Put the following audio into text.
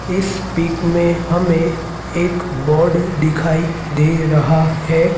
इस पिक में हमें एक बोर्ड दिखाई दे रहा है।